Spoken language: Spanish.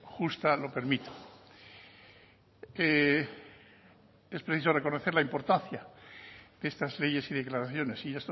justa lo permita es preciso reconocer la importancia que estas leyes y declaraciones y